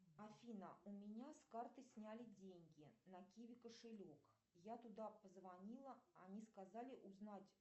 афина у меня с карты сняли деньги на киви кошелек я туда позвонила они сказали узнать